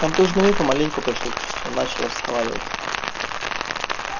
контуженный мир помаленьку пришёл в чувство начал разговаривать